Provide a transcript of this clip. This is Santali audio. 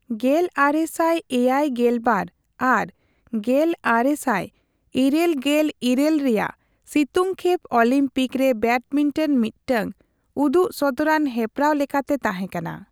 ᱜᱮᱞᱟᱨᱮᱥᱟᱭ ᱮᱭᱟᱭᱜᱮᱞᱵᱟᱨ ᱟᱨ ᱜᱮᱞᱟᱨᱮᱥᱟᱭ ᱤᱨᱟᱹᱞᱜᱮᱞ ᱤᱨᱟᱹᱞ ᱨᱮᱭᱟᱜ ᱥᱤᱛᱩᱝᱠᱷᱮᱯ ᱚᱞᱤᱢᱯᱤᱠ ᱨᱮ ᱵᱮᱰᱢᱤᱱᱴᱚᱱ ᱢᱤᱫᱴᱟᱝ ᱩᱫᱩᱜ ᱥᱚᱫᱚᱨᱟᱱ ᱦᱮᱯᱨᱟᱣ ᱞᱮᱠᱟᱛᱮ ᱛᱟᱦᱮᱸᱠᱟᱱᱟ᱾